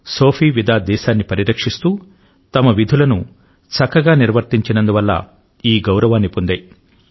Sophie ఇంకా Vida దేశాన్ని పరిరక్షిస్తూ తమ విధులను చక్కగా నిర్వర్తించినందు వల్ల ఈ గౌరవాన్ని పొందాయి